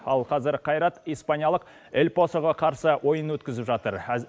ал қазір қайрат испаниялық эльпасоға қарсы ойын өткізіп жатыр